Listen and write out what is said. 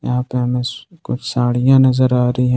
यहां पे हमे स कुछ साड़ियां नजर आ रही हैं।